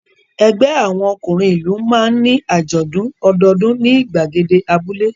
Ẹgbẹ́ àwọn ọkùnrin ìlú máa ń ní àjọ̀dún ọdọọdún ní ìgbàgede abúlé.